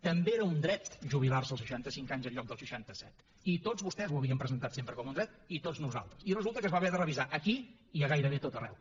també era un dret jubilar se als seixanta cinc anys en lloc dels seixanta set i tots vostès ho havien presentat sempre com un dret i tots nosaltres i resulta que es va haver de revisar aquí i a gairebé a tot arreu